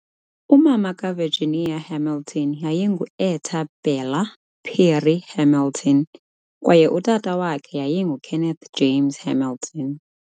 Umama kaVirginia Hamilton yayingu-Etta Bella Perry Hamilton kwaye utata wakhe yayinguKenneth James Hamilton.